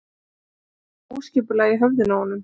Það er smá óskipulag í höfðinu á honum.